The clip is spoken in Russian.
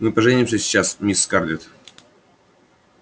мы поженимся сейчас мисс скарлетт